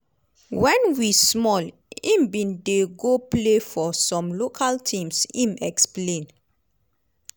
"wen we small im bin dey go play for some local teams" im explain.